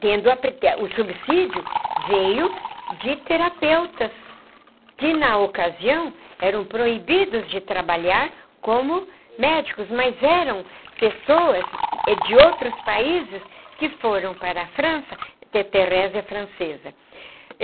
tendo o subsídio, veio de terapeutas, que na ocasião eram proibidos de trabalhar como médicos, mas eram pessoas de outros países que foram para a França, ter Therese é francesa.